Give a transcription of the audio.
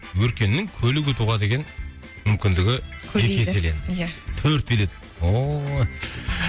өркеннің көлік ұтуға деген мүмкіндігі көбейді екі еселенді ия төрт билет ооо